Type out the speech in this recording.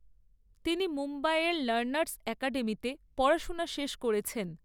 তিনি মুম্বাইয়ের লার্নার্স একাডেমিতে পড়াশোনা শেষ করেছেন।